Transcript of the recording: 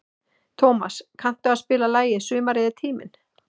Tómas, kanntu að spila lagið „Sumarið er tíminn“?